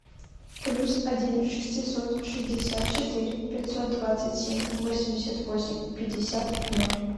плюс один шестьсот шестьдесят четыре пятьсот двадцать семь восемьдесят восемь пятьдесят ноль